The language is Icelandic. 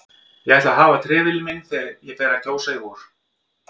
Ég ætla að hafa trefilinn minn þegar ég fer að kjósa í vor